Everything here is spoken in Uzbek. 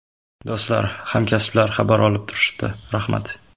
Do‘stlar, hamkasblar xabar olib turishdi, rahmat.